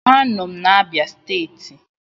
Anọ m na Abia steeti